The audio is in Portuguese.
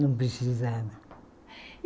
Não precisava.